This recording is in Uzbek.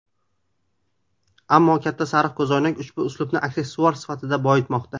Ammo katta sariq ko‘zoynak ushbu uslubni aksessuar sifatida boyitmoqda.